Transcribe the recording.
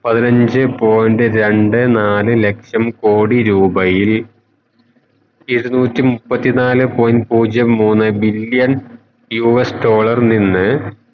പതിനഞ്ചേ point രണ്ടേ നാലേ ലക്ഷം കോടി രൂപയിൽ ഇരുന്നൂറ്റി മുപ്പത്തി നാലേ point പൂജ്യം മുന്നേ billion US ഡോളറിൽ നിന്ന്